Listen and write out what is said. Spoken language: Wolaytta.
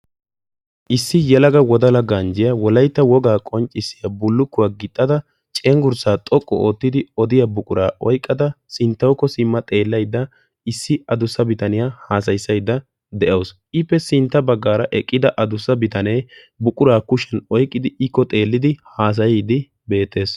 issi yalaga wodala ganjjiyaa wolaitta wogaa qonccissiya bullukkuwaa gixxada cenggurssaa xoqqu oottidi odiya buquraa oiqqada sinttawukko simma xeellaidda issi adussa bitaniyaa haasayissaidda de7awusu. iippe sintta baggaara eqqida adussa bitanee buquraa kushiyan oiqqidi ikko xeellidi haasayiiddi beettees.